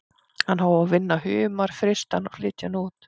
Hann hóf að vinna humar, frysta hann og flytja hann út.